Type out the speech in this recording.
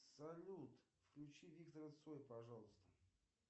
салют включи виктора цоя пожалуйста